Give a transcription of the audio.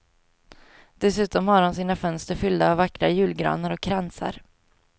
Dessutom har de sina fönster fyllda av vackra julgranar och kransar.